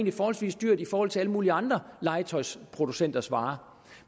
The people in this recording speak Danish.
er forholdsvis dyrt i forhold til alle mulige andre legetøjsproducenters varer